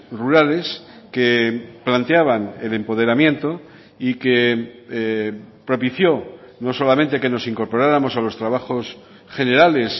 rurales que planteaban el empoderamiento y que propició no solamente que nos incorporáramos a los trabajos generales